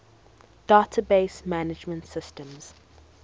database management systems